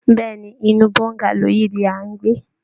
Bẹ́ẹ̀ ni, inú bongalow yìí ni à ń gbé